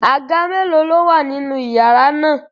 Àga mélòó ni ó wà nínú iyàrá náà?